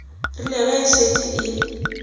rile ge e šetše e